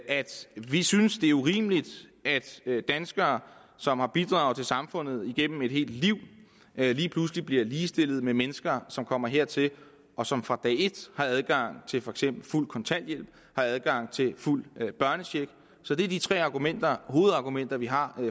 vi synes det er urimeligt at danskere som har bidraget til samfundet igennem et helt liv lige pludselig bliver ligestillet med mennesker som kommer hertil og som fra dag et har adgang til for eksempel fuld kontanthjælp og har adgang til fuld børnecheck så det er de tre hovedargumenter vi har